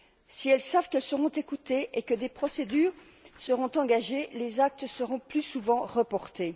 Si elles savent qu'elles seront écoutées et que des procédures seront engagées, les actes seront plus souvent rapportés.